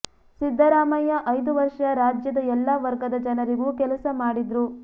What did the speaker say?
ಸಿದ್ದರಾಮಯ್ಯ ಐದು ವರ್ಷ ರಾಜ್ಯದ ಎಲ್ಲಾ ವರ್ಗದ ಜನರಿಗೂ ಕೆಲಸ ಮಾಡಿದ್ರು